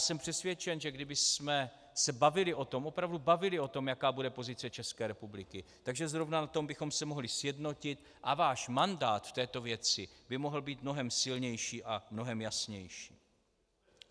Jsem přesvědčen, že kdybychom se bavili o tom, opravdu bavili o tom, jaká bude pozice České republiky, že zrovna na tom bychom se mohli sjednotit a váš mandát v této věci by mohl být mnohem silnější a mnohem jasnější.